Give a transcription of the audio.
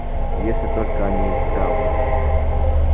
если только они исправны